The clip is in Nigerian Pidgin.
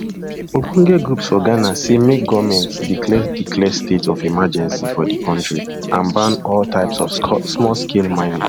ogbonge groups for ghana say make goment declare declare state of emergency for di kontri and ban all types of smallscale mining